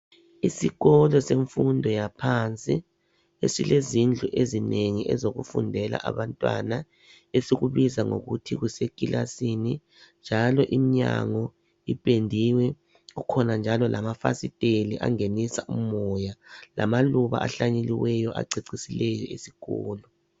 Isikolo semfundo yaphansi, esilezindlu ezinengi ezokufundela abantwana esikubiza ngokuthi kusekilasini, njalo imnyango ipendiwe. Kukhona njalo lamafasiteli angenisa umoya, lamaluba ahlanyeliweyo acecisileyo isikolo.